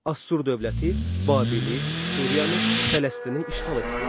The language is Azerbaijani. Assur dövləti Babili, Suriyanı, Fələstini işğal etdi.